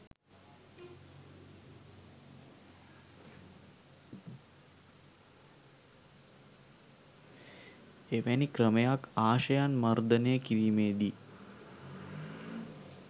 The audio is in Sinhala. එවැනි ක්‍රමයක් ආශයන් මර්දනය කිරීමේදී